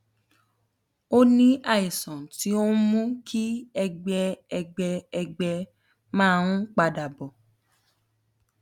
o ní àìsàn tó ń mú kí ẹgbẹ ẹgbẹ ẹgbẹ máa ń padà bò